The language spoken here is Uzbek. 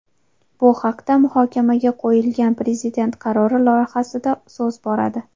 Bu haqda muhokamga qo‘yilgan Prezident qarori loyihasida so‘z boradi .